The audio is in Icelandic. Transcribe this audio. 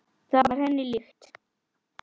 Það var henni líkt.